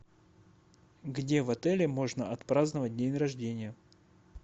где в отеле можно отпраздновать день рождения